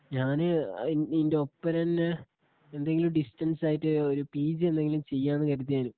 ഞാന് ഇയിന്റൊപ്പരം തന്നെ എന്തേലും ഡിസ്റ്റൻസ് ആയിട്ട് ഒരു പിജി എന്തെങ്കിലും ചെയ്യാന്നു കരുതിയാണ്.